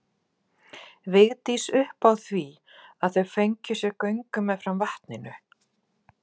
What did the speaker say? Agnes og Helgi náðu ekki saman þessa helgi eins og hún hafði vonast eftir.